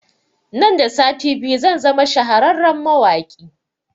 Nan da sati biyu zan zama shahararren mawaƙi